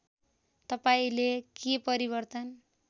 तपाईँंले के परिवर्तन